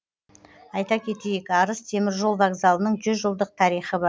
айта кетейік арыс теміржол вокзалының жүз жылдық тарихы бар